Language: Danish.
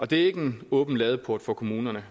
det er ikke en åben ladeport for kommunerne